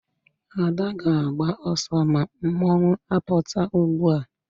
Ada ga-agba oso ma mmanwu aputa ugbua